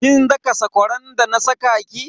Kin daka sakwaran da na sa ki?